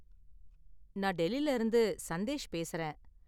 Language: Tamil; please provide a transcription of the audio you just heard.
நான் டெல்லில இருந்து சந்தேஷ் பேசுறேன்.